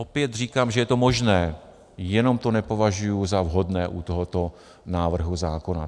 Opět říkám, že je to možné, jenom to nepovažuji za vhodné u tohoto návrhu zákona.